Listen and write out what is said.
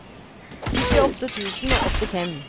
syttiåtte tusen og åttifem